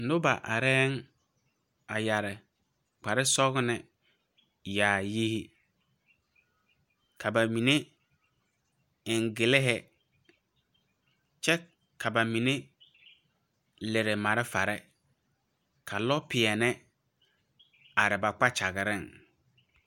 Noba areŋ a yeɛre kpar sɔglɔ yaayiri, ka ba mine eŋ gli kyɛ ka ba mine leri malfaree, ka lɔpɛɛple are ba kpakyagereŋ.